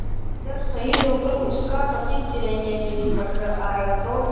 जब शहीद होकर उसका पति तिरंगे में लिपट कर आया था तो